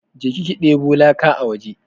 Je ki ki deɓo laka a waje!